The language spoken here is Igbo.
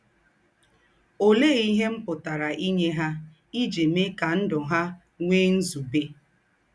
Òléè íhe m pụ̀tàrà ínyè ha íjí méè kà ndụ́ ha nwèè ǹzùbè?